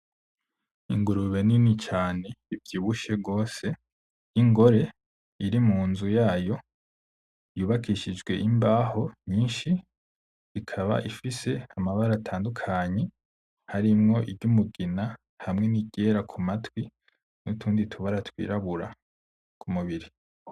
Ingurube nini cane ivyibushe gose y'ingore iri munzu yayo yubakishijwe imbaho nyinshi, ikaba ifise amabara atandukanye harimwo iry'umugina hamwe n'iryera ku matwi n'utundi tubara twirabura kumubiri.